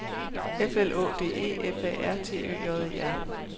F L Å D E F A R T Ø J E R